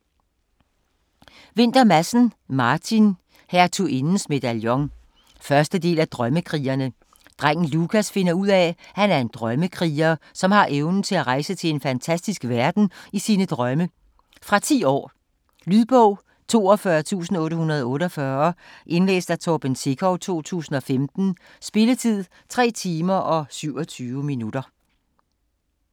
Vinther Madsen, Martin: Hertugindens medaljon 1. del af Drømmekrigerne. Drengen Lukas finder ud af at han er en drømmekriger, som har evnen til at rejse til en fantastisk verden i sine drømme. Fra 10 år. Lydbog 42848 Indlæst af Torben Sekov, 2015. Spilletid: 3 timer, 27 minutter.